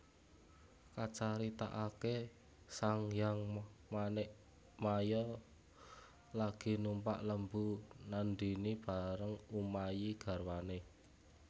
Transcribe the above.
Kacaritaaké Sanghyang Manikmaya lagi numpak Lembu Nandhini bareng Umayi garwané